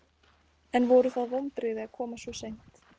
En voru það vonbrigði að koma svo seint?